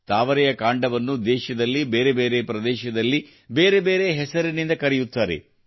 ತಾವರೆಯ ಕಾಂಡವನ್ನು ದೇಶದಲ್ಲಿ ಬೇರೆ ಬೇರೆ ಪ್ರದೇಶಗಳಲ್ಲಿ ಬೇರೆ ಬೇರೆ ಹೆಸರಿನಿಂದ ಕರೆಯುತ್ತಾರೆ